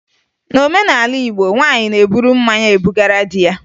N'omenala Igbo, nwaanyị na-eburu mmanya ebugara di ya